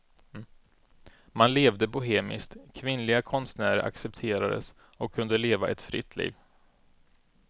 Man levde bohemiskt, kvinnliga konstnärer accepterades och kunde leva ett fritt liv.